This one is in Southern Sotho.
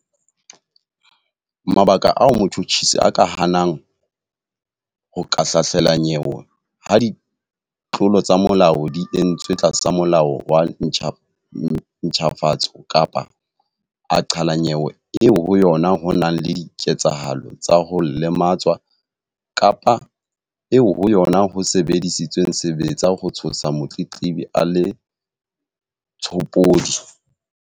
Mabaka ao motjhutjhisi a ka hanang ho ka hlahlela nyewe ha ditlolo tsa molao di entswe tlasa Molao wa ntjhafatso kapa a qhala nyewe eo ho yona ho nang le dike-tsahalo tsa ho lematswa kapa eo ho yona ho sebedisitsweng sebetsa ho tshosa motletlebi a le tshopodi.